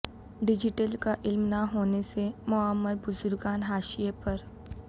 digital کا علم نہ ہونے سے معمربزرگان حاشیے پر